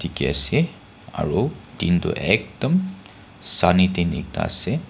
Ke ase aro tin tu ektum sunny tin ekta ase.